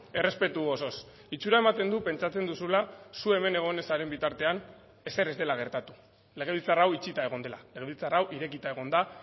errespetu osoz itxura ematen du pentsatzen duzula zu hemen egon ez zaren bitartean ezer ez dela gertatu legebiltzar hau itxita egon dela legebiltzar hau irekita egon da